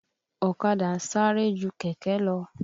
Ọ̀kadà ń sáré ju kẹ̀kẹ́ lọ.